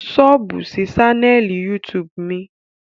Sọ́ọ̀bù sí ṣánẹ́ẹ̀lì YouTube mi